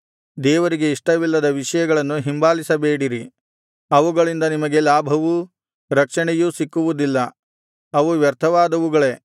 ದೇವರಿಗೆ ಇಷ್ಟವಿಲ್ಲದ ವಿಷಯಗಳನ್ನು ಹಿಂಬಾಲಿಸಬೇಡಿರಿ ಅವುಗಳಿಂದ ನಿಮಗೆ ಲಾಭವೂ ರಕ್ಷಣೆಯೂ ಸಿಕ್ಕುವುದಿಲ್ಲ ಅವು ವ್ಯರ್ಥವಾದವುಗಳೇ